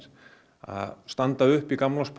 að standa upp í